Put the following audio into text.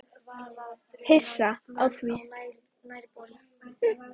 Hissa á því?